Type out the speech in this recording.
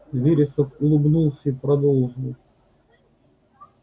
вересов улыбнулся и продолжил